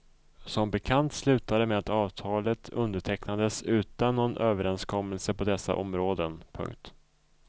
Som bekant slutade det med att avtalet undertecknades utan någon överenskommelse på dessa områden. punkt